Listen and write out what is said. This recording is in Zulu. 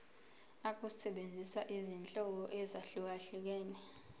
ukusebenzisa izinhlobo ezahlukehlukene